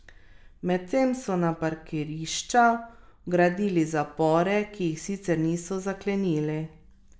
Medtem so na parkirišča vgradili zapore, ki jih sicer niso zaklenili.